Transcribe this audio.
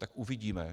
Tak uvidíme.